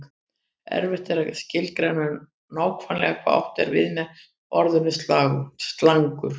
Erfitt er að skilgreina nákvæmlega hvað átt er við með orðinu slangur.